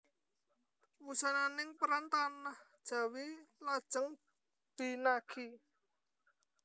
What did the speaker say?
Wusananing perang tanah Jawi lajeng binagi